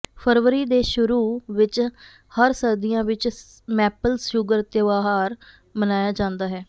ਫ਼ਰਵਰੀ ਦੇ ਸ਼ੁਰੂ ਵਿੱਚ ਹਰ ਸਰਦੀਆਂ ਵਿੱਚ ਮੈਪਲ ਸ਼ੂਗਰ ਤਿਉਹਾਰ ਮਨਾਇਆ ਜਾਂਦਾ ਹੈ